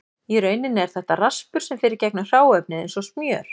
Í rauninni er þetta raspur sem fer í gegnum hráefnið eins og smjör.